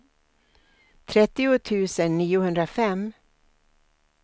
trettio tusen niohundrafem